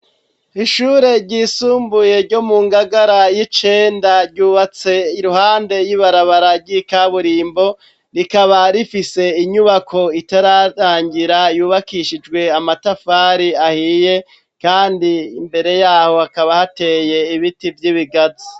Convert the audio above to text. Ishure ryisumbuye ryo mu ngagara y’icenda ry’ubatse iruhande y’ibarabara ryikaburimbo rikaba rifise inyubako itararangira yubakishijwe amatafari ahiye kandi imbere yaho hakaba hateye ibiti vyibigazi